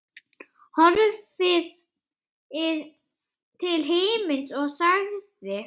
Horfði til himins og sagði